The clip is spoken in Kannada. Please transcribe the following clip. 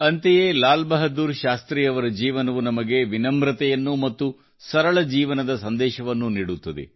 ಅಂತೆಯೇ ಲಾಲ್ಬಹದ್ದೂರ್ ಶಾಸ್ತ್ರೀಯವರ ಜೀವನವು ನಮಗೆ ವಿನಮ್ರತೆಯನ್ನು ಮತ್ತು ಸರಳ ಜೀವನದ ಸಂದೇಶವನ್ನು ನೀಡುತ್ತದೆ